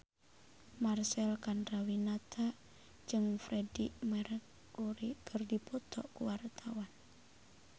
Marcel Chandrawinata jeung Freedie Mercury keur dipoto ku wartawan